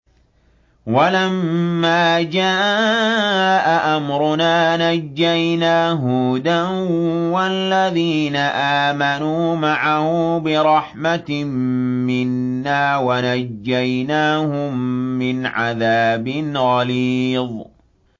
وَلَمَّا جَاءَ أَمْرُنَا نَجَّيْنَا هُودًا وَالَّذِينَ آمَنُوا مَعَهُ بِرَحْمَةٍ مِّنَّا وَنَجَّيْنَاهُم مِّنْ عَذَابٍ غَلِيظٍ